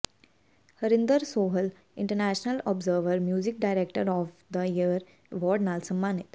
Harinder Sohal international observer music director of the year award ਨਾਲ ਸਨਮਾਨਿਤ